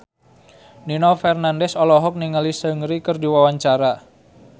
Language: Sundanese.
Nino Fernandez olohok ningali Seungri keur diwawancara